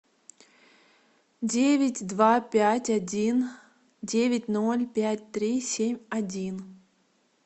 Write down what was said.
девять два пять один девять ноль пять три семь один